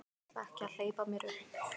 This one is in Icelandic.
Ég ætla ekki að hleypa mér upp.